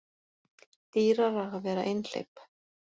Dýrara að vera einhleyp